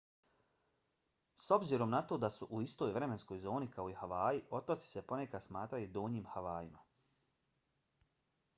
s obzirom na to da su u istoj vremenskoj zoni kao i havaji otoci se ponekad smatraju donjim havajima